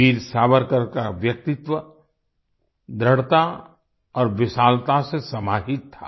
वीर सावरकर का व्यक्तित्व दृढ़ता और विशालता से समाहित था